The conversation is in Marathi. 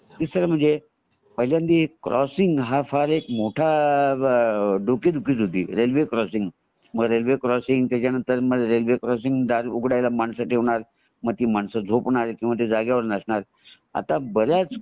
तिसरा म्हणजे पाहिल्यानदी क्रॉससीनग हा फार एक मोठा डोके दुखी होती रेल्वे क्रॉससीनग मग रेल्वे क्रॉससीनग मग त्याचमद्धे दायर उघडायला मानस ठेवणार मग ती मानस झोपणार किंवा ती जागेवर नसणार आता बऱ्याच